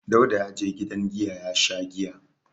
Dauda ya je gidan giya ya sha giya.